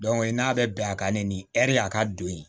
n'a bɛ bɛn a kan ne ni ɛri a ka don ye